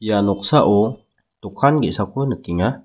ia noksao dokan ge·sako nikenga.